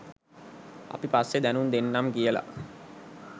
අපි පස්සේ දැනුම් දෙන්නම් කියලා